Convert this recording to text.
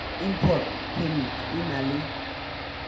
import permit e na le